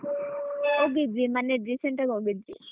ಹೋಗಿದ್ವಿ ಮೊನ್ನೆ recent ಆಗಿ ಹೋಗಿದ್ವಿ.